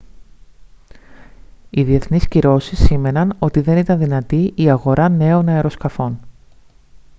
οι διεθνείς κυρώσεις σήμαιναν ότι δεν ήταν δυνατή η αγορά νέων αεροσκαφών